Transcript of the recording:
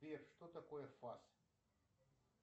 сбер что такое фас